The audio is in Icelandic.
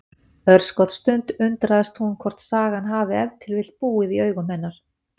Örskotsstund undrast hún hvort sagan hafi ef til vill búið í augum hennar.